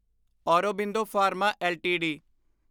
Aurobindo pharma LTD